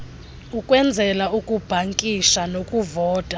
ukwenzela ukubhankisha nokuvota